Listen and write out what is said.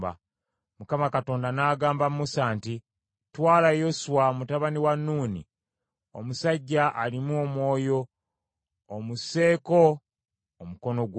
Mukama Katonda n’agamba Musa nti, “Twala Yoswa mutabani wa Nuuni, omusajja alimu omwoyo , omusseeko omukono gwo.